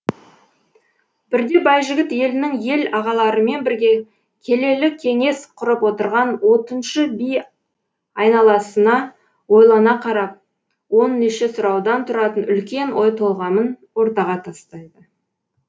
бірде байжігіт елінің ел ағаларымен бірге келелі кеңес құрып отырған отыншы би айналасына ойлана қарап он неше сұраудан тұратын үлкен ой толғамын ортаға тастайды